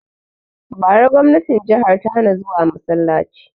Bara gwamnatin jihar ta hana zuwa masalaci!